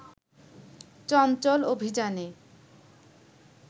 চঞ্চল অভিযানে